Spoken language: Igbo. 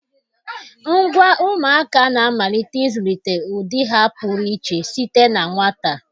Ngwa ụmụaka na-amalite ịzụlite ụdị ha pụrụ iche site na nwata.